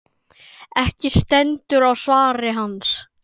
Ekki stendur á svari hans.